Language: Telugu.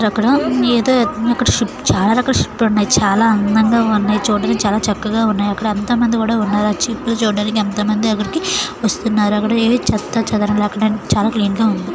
అక్కడ ఏదో ఒకటి షిప్ చాలా రకాల షిప్ లు ఉన్నాయి చాలా అందంగా ఉన్నాయి చూడ్డానికి చాలా చక్కగా ఉన్నాయి అక్కడ ఎంతోమంది కూడా ఉన్నారు ఆ షిప్ నీ చూడడానికి ఎంతోమంది అక్కడికి వస్తున్నారు అక్కడ ఏవి చెత్తాచెదారం లేకుండా చాలా క్లీన్ గా ఉంది.